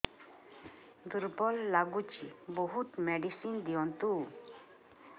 ଦୁର୍ବଳ ଲାଗୁଚି ବହୁତ ମେଡିସିନ ଦିଅନ୍ତୁ